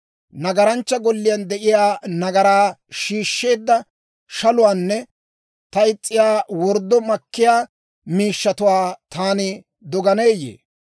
Nagaranchchaa golliyaan de'iyaa nagaran shiishsheedda shaluwaanne ta is's'iyaa worddo makkiyaa miishshatuwaa taani doganeeyye?